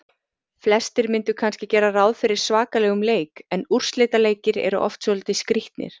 Flestir myndu kannski gera ráð fyrir svakalegum leik en úrslitaleikir eru oft svolítið skrýtnir.